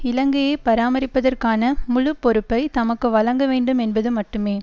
இலங்கையை பராமரிப்பதற்கான முழு பொறுப்பை தமக்கு வழங்க வேண்டும் என்பது மட்டுமே